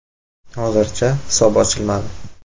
Hozircha, hisob ochilmadi.